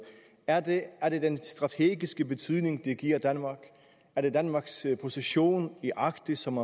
er det den strategiske betydning det giver danmark er det danmarks position i arktis som